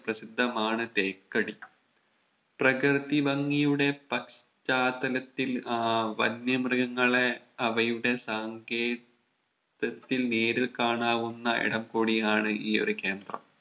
പ്രസിദ്ധമാണ് തേക്കടി പ്രകൃതി ഭംഗിയുടെ പശ്ചാത്തലത്തിൽ ആഹ് വന്യ മൃഗങ്ങളെ അവയുടെ സാങ്കേ തത്തിൽ നേരിൽ കാണാവുന്ന ഇടം കൂടിയാണ് ഈ ഒരു കേന്ദ്രം